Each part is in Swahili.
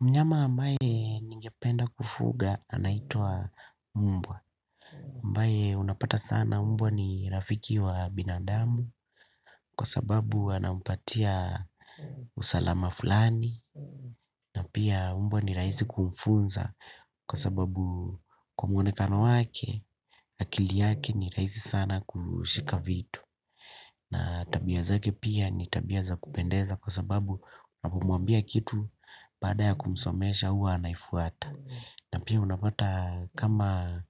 Mnyama ambaye ningependa kufuga anaitwa mbwa. Ambaye unapata sana mbwa ni rafiki wa binadamu kwa sababu anampatia usalama fulani. Na pia mbwa ni rahisi kumfunza kwa sababu kwa muonekano wake akili yake ni rahisi sana kushika vitu. Na tabia zake pia ni tabia za kupendeza kwa sababu unapomwambia kitu baada ya kumsomesha huwa anaifuata. Na pia unapata kama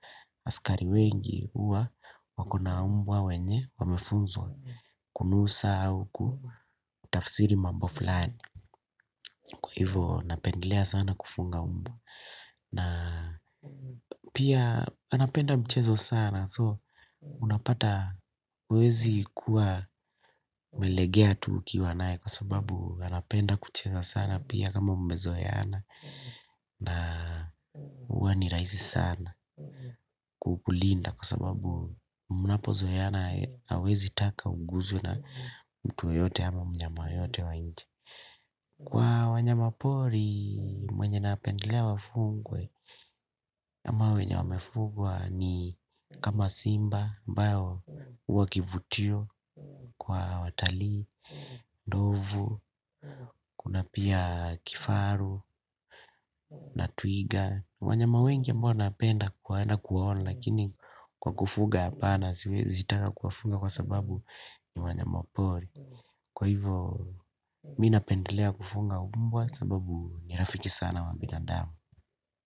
askari wengi huwa wako na mbwa wenye wamefunzwa kunusa au kutafsiri mambo fulani. Kwa hivyo napendelea sana kufuga mbwa. Na pia anapenda mchezo sana so unapata huwezi kuwa umelegea tu ukiwa naye kwa sababu anapenda kucheza sana pia kama mmezoeana. Na huwa ni rahisi sana kukulinda kwa sababu mnapozoeana hawezi taka uguswe na mtu yeyote ama mnyama yeyote wa nje kwa wanyama pori mwenye napendelea wafugwe ama wenye wamefugwa ni kama simba ambao huwa kivutio kwa watalii, ndovu. Kuna pia kifaru na twiga wanyama wengi ambao napenda kwenda kuwaona lakini kwa kufuga hapana siwezi taka kuwafuga kwa sababu ni wanyama pori kwa hivyo mimi napendelea kufuga mbwa sababu ni rafiki sana wa binadamu.